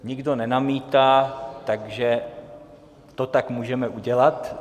Nikdo nenamítá, takže to tak můžeme udělat.